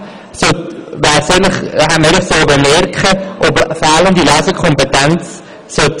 Eigentlich hätte man in diesem Rahmen bemerken sollen, ob es an Lesekompetenz fehlt.